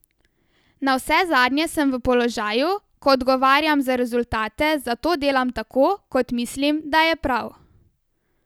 Navsezadnje sem v položaju, ko odgovarjam za rezultate, zato delam tako, kot mislim, da je prav.